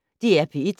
DR P1